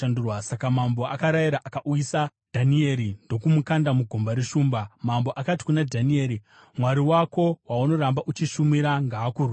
Saka mambo akarayira, akauyisa Dhanieri ndokumukanda mugomba reshumba. Mambo akati kuna Dhanieri, “Mwari wako, waunoramba uchishumira, ngaakurwire!”